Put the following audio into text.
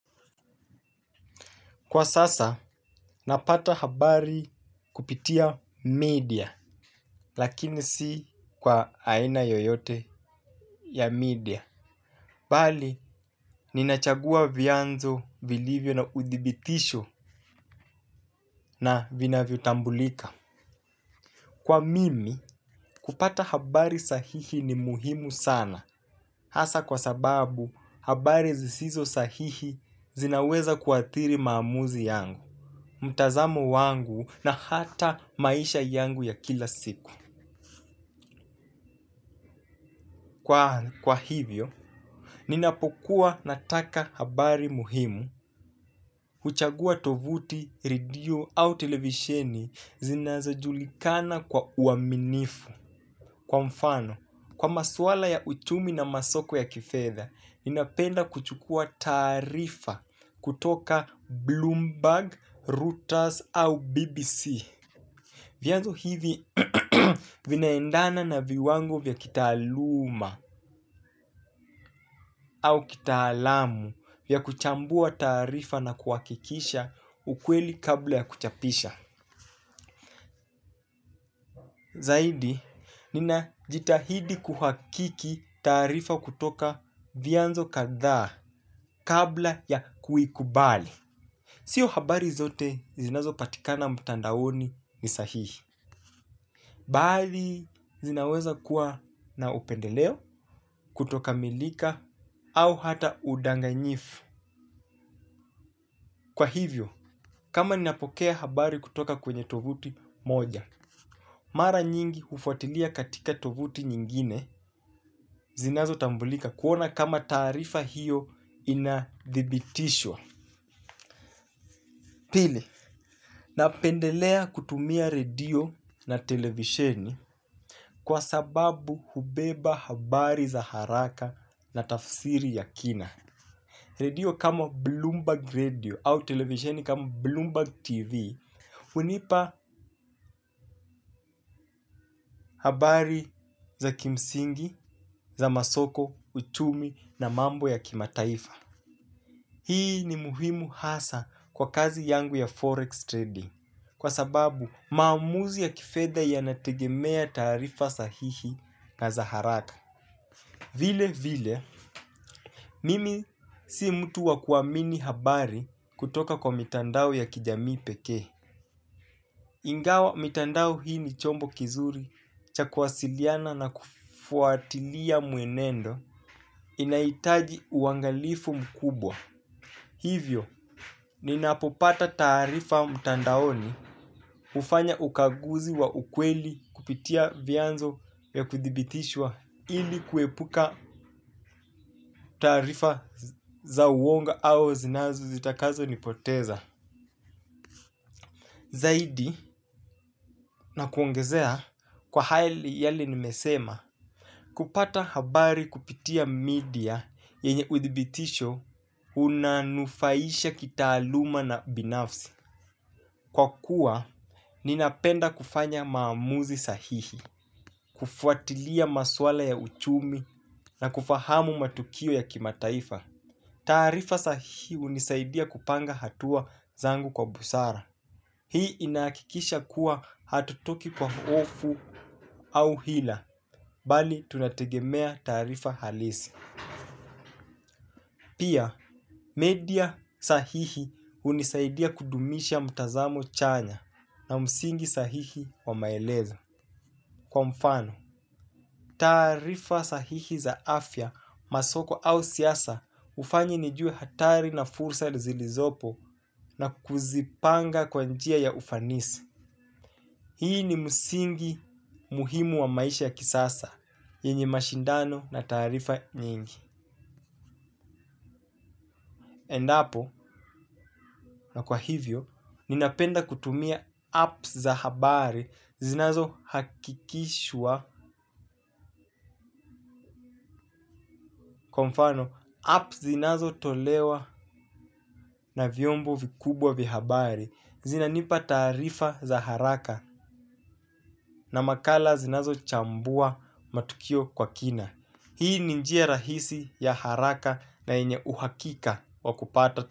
Kwa sasa, napata habari kupitia media, lakini si kwa aina yoyote ya media. Bali, ninachagua vianzo, vilivyo na udhibitisho na vinavyotambulika. Kwa mimi, kupata habari sahihi ni muhimu sana. Asa kwa sababu, habari zisizo sahihi zinaweza kuathiri maamuzi yangu. Mtazamo wangu na hata maisha yangu ya kila siku kwa hivyo ninapokuwa nataka habari muhimu huchagua tovuti, redio au televisheni zinazajulikana kwa uaminifu kwa mfano, kwa maswala ya uchumi na masoko ya kifedha ninapenda kuchukua taarifa kutoka Bloomberg, Routers au BBC. Vyanzo hivi vinaendana na viwango vya kitaaluma au kitaalamu vya kuchambua taarifa na kuhakikisha ukweli kabla ya kuchapisha. Zaidi, ninajitahidi kuhakiki taarifa kutoka vyanzo kadhaa kabla ya kuikubali. Sio habari zote zinazopatikana mtandaoni ni sahihi. Baadhi zinaweza kuwa na upendeleo kutokamilika au hata udanganyifu. Kwa hivyo, kama ninapokea habari kutoka kwenye tovuti moja, mara nyingi hufuatilia katika tovuti nyingine zinazotambulika kuona kama tarifa hiyo inadhibitishwa. Pili, napendelea kutumia redio na televisheni kwa sababu hubeba habari za haraka na tafsiri ya kina. Redio kama Bloomberg Radio au televisheni kama Bloomberg TV hunipa habari za kimsingi, za masoko, uchumi na mambo ya kimataifa. Hii ni muhimu hasa kwa kazi yangu ya forex trading kwa sababu maamuzi ya kifedha yanategemea taarifa sahihi na za haraka. Vile vile, mimi si mtu wa kuamini habari kutoka kwa mitandao ya kijamii pekee. Ingawa, mitandao hii ni chombo kizuri cha kuwasiliana na kufuatilia mwenendo inahitaji uangalifu mkubwa. Hivyo, ninapopata taarifa mtandaoni hufanya ukaguzi wa ukweli kupitia vyanzo ya kuthibitishwa ili kuepuka taarifa za uongo au zinazo zitakazonipoteza. Zaidi, nakuongezea kwa hali yale nimesema, kupata habari kupitia media yenye uthibitisho unanufaisha kitaaluma na binafsi. Kwa kuwa, ninapenda kufanya maamuzi sahihi, kufuatilia maswala ya uchumi na kufahamu matukio ya kimataifa. Tarifa sahihi unisaidia kupanga hatua zangu kwa busara. Hii inakikisha kuwa hatutoki kwa hofu au hila, bali tunategemea taarifa halisi. Pia, media sahihi hunisaidia kudumisha mtazamo chanya na msingi sahihi wa maelezo. Kwa mfano, taarifa sahihi za afya masoko au siasa hufanyi nijue hatari na fursa zilizopo na kuzipanga kwa njia ya ufanisi. Hii ni msingi muhimu wa maisha ya kisasa, yenye mashindano na taarifa nyingi. Endapo na kwa hivyo ninapenda kutumia apps za habari zinazohakikishwa kwa mfano apps zinazotolewa na vyombo vikubwa vya habari zinanipa taarifa za haraka na makala zinazochambua matukio kwa kina. Hii ni njia rahisi ya haraka na yenye uhakika wa kupata.